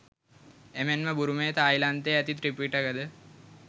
එමෙන්ම බුරුමයේ තායිලන්තයේ ඇති ත්‍රිපිටක ද